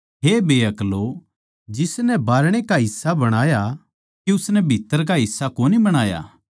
हे बेअक्लो जिसनै बाहरणै का हिस्सा बणाया के उसनै भीत्त्तर का हिस्सा कोनी बणाया